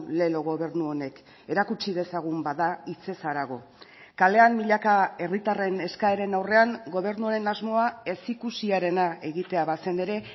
lelo gobernu honek erakutsi dezagun bada hitzez harago kalean milaka herritarren eskaeren aurrean gobernu honen asmoa ezikusiarena egitea bazen ere